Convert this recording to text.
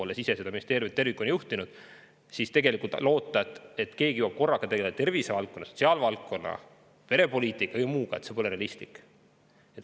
Olles ise seda ministeeriumit tervikuna juhtinud, loota, et keegi jõuab korraga tegeleda tervis, sotsiaalvaldkonna, perepoliitika ja muuga, pole realistlik.